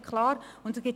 Das ist mir klar.